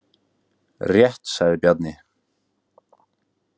Rétt, sagði Bjarni.